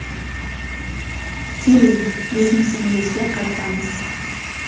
Keling, biznesingizga qaytamiz.